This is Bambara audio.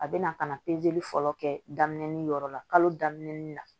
A bɛ na ka na fɔlɔ kɛ daminɛ yɔrɔ la kalo daminɛ ni na